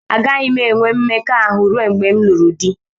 Agaghị m enwe mmekọahụ ruo mgbe m lụrụ di